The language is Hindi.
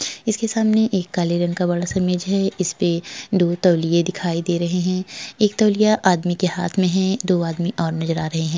इसके सामने एक काले रंग का बड़ा-सा मेज है। इस पे दो तौलिये दिखाई दे रहे हैं। एक तौलिया आदमी के हाथ में है। दो आदमी और नजर आ रहे हैं।